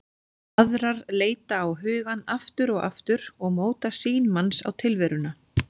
Aðrar leita á hugann aftur og aftur og móta sýn manns á tilveruna.